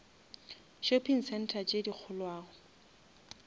shopping center tše di kgolwane